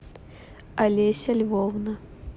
олеся львовна